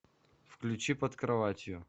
включи под кроватью